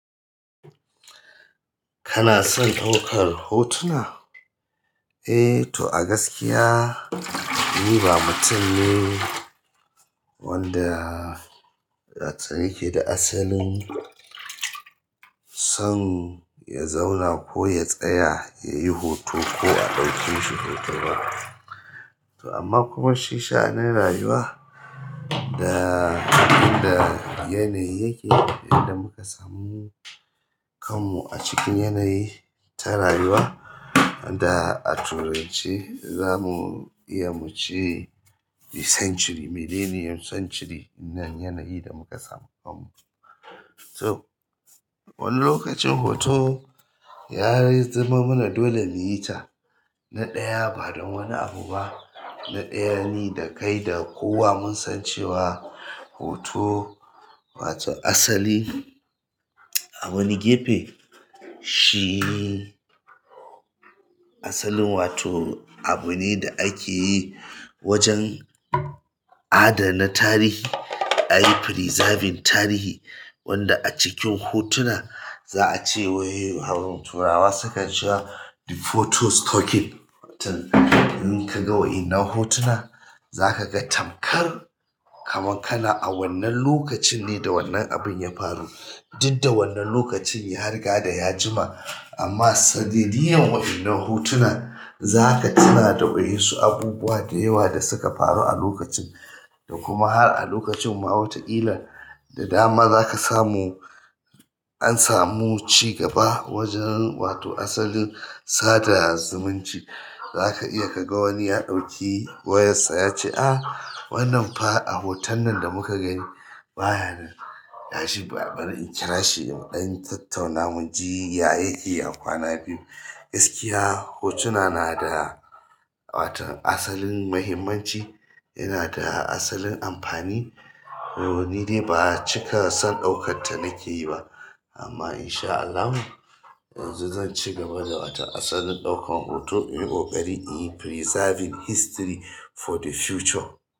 Kanason ɗaukar hotuna eh to a gaskiya ni ba mutum ne wanda yake asalin son ya zauna ko ya tsaya yayi hoto ko a ɗauke shi hoto ba. To amma kuma shi sha'anin rayuwa da da yanayi yake da abin da muka samu kanmu a cikin yanayi ta rayuwa da a turanci zamu iya muce the century, millennium century na yanayi da muka samu kanmu. To wani lokacin hoto ya yi zama mana dole miyi ta na ɗaya ba don wani abu ba. Na ɗaya ni da kai da kowa mun san cewa hoto wato asalin a wani gefe shi asalin wato abu ne da ake yi wajen adana tarihi ayi preserving tarihi wanda acikin hotuna za'a ce wai turawa sukan cewa the photo talking in kaga waɗannan hotuna zaka ga tamkar kaman kana a wannan lokacin ne da wannan abun ya faru. Duk da wannan lokacin ya riga da ya jima amma sadidiyar wa'innan hotunan zaka tuna da wasu abubuwa da yawa da suka faru a lokacin da kuma har a lokacin ma wata ƙila har a lokacin ma da dama zaka samu an samu cigaba wajen wato asalin sada zumunci. Zaka iya kaga wani ya ɗauki wayar sa yace a wannan fa a hoton nan da muka gani bayanan yashi bari in kira shi muɗan tattauna muji ya yake a kwana biyu. Gaskiya hotuna na da wato asalin muhimmanci yana da asalin amfani. Ni ne ba cika son ɗaukar ta nake yi ba amma insha Allahi yanzu zanci gaba da asalin ɗaukar hoto in ƙoƙari in yi preserving history for the future.